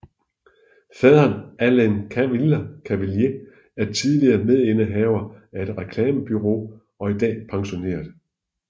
Faderen Alain Cavallier er tidligere medindehaver af et reklamebureau og i dag pensioneret